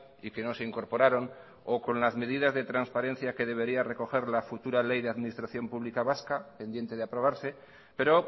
y que no se incorporaron o con las medidas de transparencia que debería recoger la futura ley de administración pública vasca pendiente de aprobarse pero